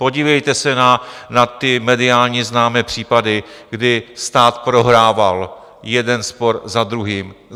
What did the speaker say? Podívejte se na ty mediálně známé případy, kdy stát prohrával jeden spor za druhým.